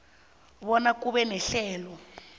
bona kube nehlelo